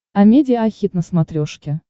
амедиа хит на смотрешке